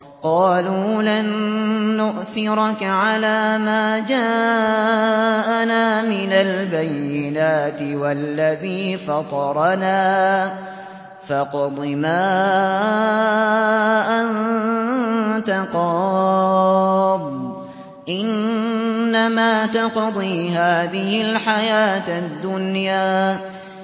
قَالُوا لَن نُّؤْثِرَكَ عَلَىٰ مَا جَاءَنَا مِنَ الْبَيِّنَاتِ وَالَّذِي فَطَرَنَا ۖ فَاقْضِ مَا أَنتَ قَاضٍ ۖ إِنَّمَا تَقْضِي هَٰذِهِ الْحَيَاةَ الدُّنْيَا